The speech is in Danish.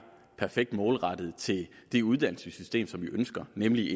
perfekt målrettet til det uddannelsessystem som vi ønsker nemlig